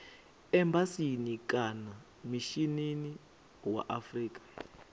embasini kana mishinini wa afrika